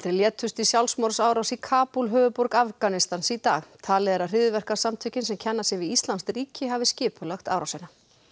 létust í sjálfsmorðsárás í Kabúl höfuðborg Afganistans í dag talið er að hryðjuverkasamtökin sem kenna sig við íslamskt ríki hafi skipulagt árásina